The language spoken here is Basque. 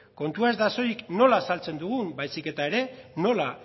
kontua ez da soilik nola saltzen dugun baizik eta ere nola